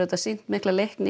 sýnt mikla leikni